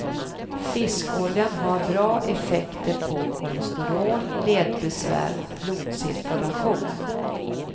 Fiskoljan har bra effekter på kolesterol, ledbesvär och blodcirkulation.